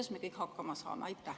Kuidas me kõik hakkama saame?